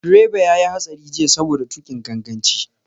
Direba ya yi hatsari jiya saboda tuƙin ganganci.